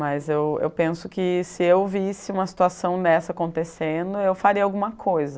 Mas eu eu penso que se eu visse uma situação dessa acontecendo, eu faria alguma coisa.